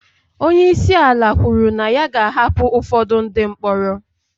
Onye isi ala kwuru na ya ga-ahapụ ụfọdụ ndị mkpọrọ